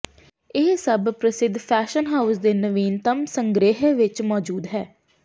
ਇਹ ਸਭ ਪ੍ਰਸਿੱਧ ਫੈਸ਼ਨ ਹਾਉਸ ਦੇ ਨਵੀਨਤਮ ਸੰਗ੍ਰਿਹ ਵਿੱਚ ਮੌਜੂਦ ਹੈ